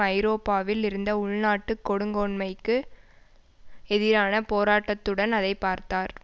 ஐரோப்பாவில் இருந்த உள்நாட்டு கொடுங்கோன்மைக்கு எதிரான போராட்டத்துடன் அதை பார்த்தார்